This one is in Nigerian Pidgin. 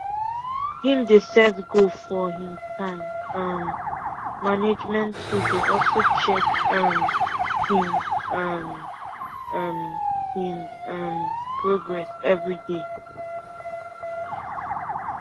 him dey set goal for him time um management tool dey also check um him um um him um progress everyday